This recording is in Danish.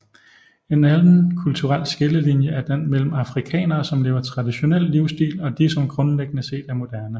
En anden kulturel skillelinje er den mellem afrikanere som lever traditionel livsstil og de som grundlæggende set er moderne